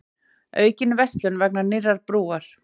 Aukin verslun vegna nýrrar brúar